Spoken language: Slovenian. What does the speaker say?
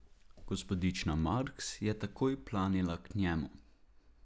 Gospodična Marks je takoj planila k njemu.